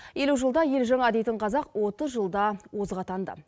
елу жылда ел жаңа дейтін қазақ отыз жылда озық атанды